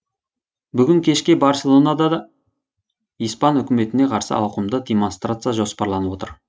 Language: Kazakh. бүгін кешке барселонада да испан үкіметіне қарсы ауқымды демонстрация жоспарланып отыр